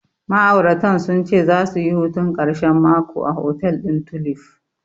Ma'auratan sun ce zasu yi hutun ƙarshen mako a hotel ɗin Tulif.